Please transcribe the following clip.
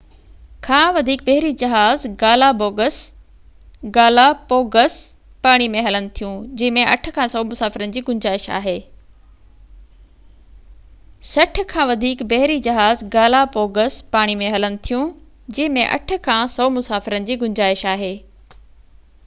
60 کان وڌيڪ بحري جهاز گالاپوگس پاڻي ۾ هلن ٿيون جنهن ۾ 8 کان 100 مسافرن جي گنجائش آهي